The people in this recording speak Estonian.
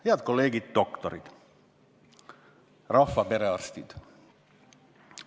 Head kolleegid, doktorid, rahva perearstid!